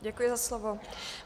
Děkuji za slovo.